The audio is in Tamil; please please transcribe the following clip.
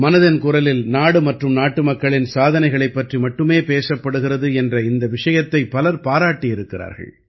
மனதின் குரலில் நாடு மற்றும் நாட்டுமக்களின் சாதனைகளைப் பற்றி மட்டுமே பேசப்படுகிறது என்ற இந்த விஷயத்தைப் பலர் பாராட்டியிருக்கிறார்கள்